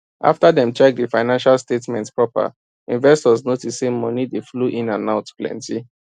after dem check the financial statements proper investors notice say money dey flow in and out plenty